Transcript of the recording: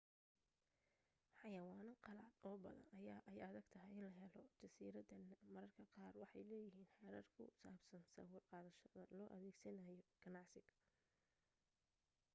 xayawaanno qalaad oo badan ayaa ay adagtahay in la helo jardiinadana mararka qaar waxay leeyihiin xeerar ku saabsan sawir-qaadashada loo adeegsanayo ganacsiga